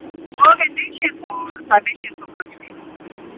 ਉਹ ਕਹਿੰਦੀ ਛੇ ਸੋ ਸਾਡੇ ਛੇ ਸੋ ਮੰਗਦੀ ਹੀ